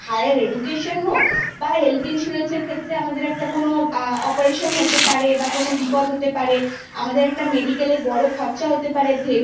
higher education হোক বা health insurance আমাদের কোন operation হতে পারে বা কোন বিপদ হতে পারে medical এর একটা বড় খরচা হতে পারে